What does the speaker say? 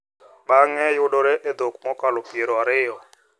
Bang’e, yudore e dhok mokalo piero ariyo .